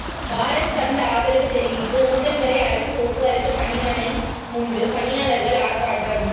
பாரத் பந்த் ஆதரவு தெரிவித்து ஊத்தங்கரை அரசு போக்குவரத்து பணிமனை முன்பு பணியாளா்கள் ஆா்ப்பாட்டம்